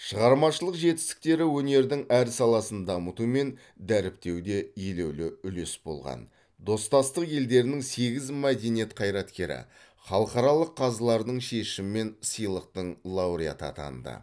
шығармашылық жетістіктері өнердің әр саласын дамыту мен дәріптеуде елеулі үлес болған достастық елдерінің сегіз мәдениет қайраткері халықаралық қазылардың шешімімен сыйлықтың лауреаты атанды